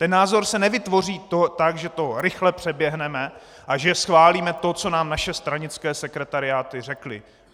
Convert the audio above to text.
Ten názor se nevytvoří tak, že to rychle přeběhneme a že schválíme to, co nám naše stranické sekretariáty řekly.